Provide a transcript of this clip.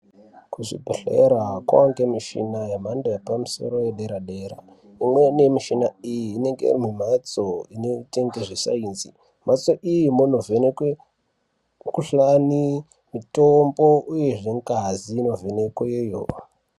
Kuzvibhedhelera koongemishina yemhando yepamusoro yedera dera, imweni mishina iyi inenge iri mumhatso inoite ngezve sainzi, mhatso iyi munovhenekwe mikhuhlani, mitombo uye zvee ngazi inovhenekwe yoo.